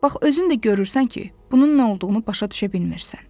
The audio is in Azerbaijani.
Bax, özün də görürsən ki, bunun nə olduğunu başa düşə bilmirsən.